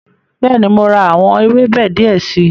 Bẹ́ẹ̀ni, mo ra àwọn ewébẹ̀ die si